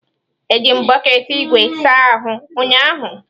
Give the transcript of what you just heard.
Eji m bọket ígwè saa ahụ ụnyahụ.